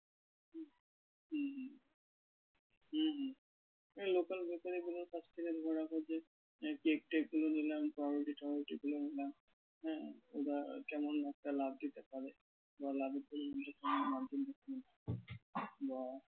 হুম হুম এই local bakery গুলোর কাছ থেকে ধরে রাখো যে cake টেক গুলো নিলাম পাউরুটি টাউরুটি গুলো নিলাম হ্যাঁ কেমন একটা লাভ দিতে পারে বা লাভের পরিমাণটা বা